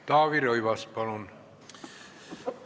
Taavi Rõivas, palun!